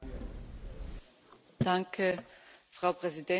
Frau Präsidentin, Herr Kommissar Oettinger, Herr Präsident Lehne!